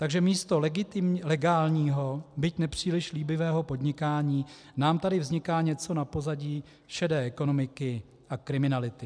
Takže místo legálního, byť nepříliš líbivého podnikání nám tady vzniká něco na pozadí šedé ekonomiky a kriminality.